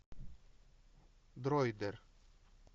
дройдер